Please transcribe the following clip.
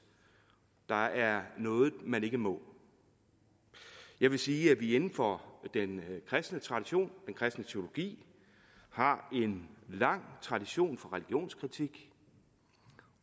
der er noget man ikke må jeg vil sige at vi inden for den kristne tradition den kristne teologi har en lang tradition for religionskritik